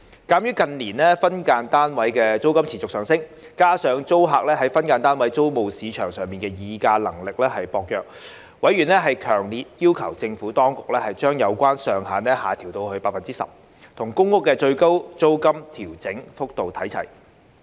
鑒於近年分間單位租金持續上升，加上租客在分間單位租務市場的議價能力薄弱，委員強烈要求政府當局將有關上限下調至 10%， 與公屋的最高租金調整幅度看齊。